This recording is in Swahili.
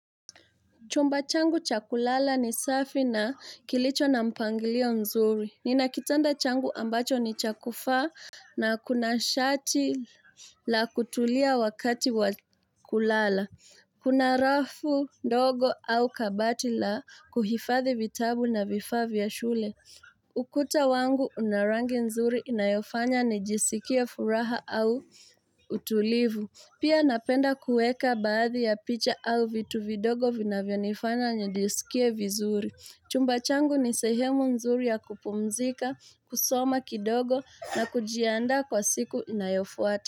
Chumba changu cha kulala ni safi na kilicho na mpangilio nzuri nina kitanda changu ambacho ni chakufa na kuna shati la kutulia wakati wa kulala Kuna rafu ndogo au kabati la kuhifadhi vitabu na vifaa vya shule ukuta wangu una 1rangi nzuri inayofanya nijisikie furaha au utulivu Pia napenda kueka baadhi ya picha au vitu vidogo vina vionifana nye disikie vizuri. Chumba changu ni sehemu nzuri ya kupumzika, kusoma kidogo na kujianda kwa siku inayofuatu.